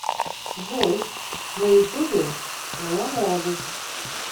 джой на ютубе твоя молодость